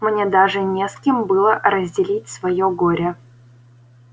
мне даже не с кем было разделить своё горе